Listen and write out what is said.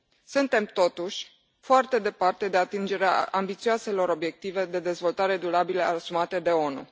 Suntem, totuși, foarte departe de atingerea ambițioaselor obiective de dezvoltare durabilă asumate de ONU.